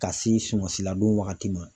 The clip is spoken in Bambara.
Ka se sunmasi ladon wagati ma.